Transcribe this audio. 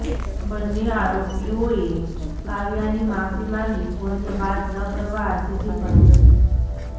બન્ને આરોપીઓએ કાવ્યાની માફી માંગી કોઈને વાત ન કરવા આજીજી કરી હતી